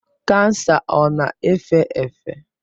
Kansa ọ na-efe efe?